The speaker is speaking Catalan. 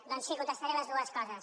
doncs sí contestaré totes dues coses